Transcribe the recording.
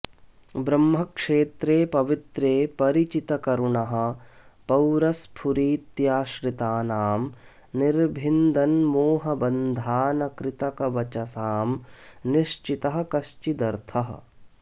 ब्रह्मक्षेत्रे पवित्रे परिचितकरुणः पोरस्फुरीत्याश्रितानां निर्भिन्दन् मोहबन्धानकृतकवचसां निश्चितः कश्चिदर्थः